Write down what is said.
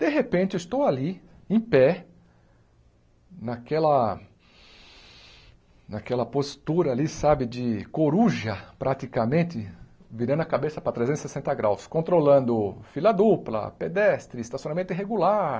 De repente, eu estou ali, em pé, naquela... naquela postura ali, sabe, de coruja, praticamente, virando a cabeça para trezentos e sessenta graus graus, controlando fila dupla, pedestre, estacionamento irregular,